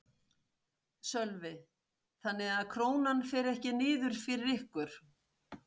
Sölvi: Þannig að Krónan fer ekki niður fyrir ykkur?